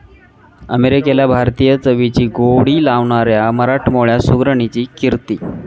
अमेरिकेला भारतीय चवीची गोडी लावणाऱ्या मराठमोळ्या सुगरणीची 'कीर्ती'